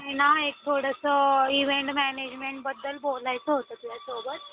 अठरा वर्षांनंतर ते एक सज्ञान झालेले असे मानला जातं. आणि ही मुले उद्याचे पालक आणि देशाचे भावी नागरिक म्हणून खरं ओळखले जातात. आणि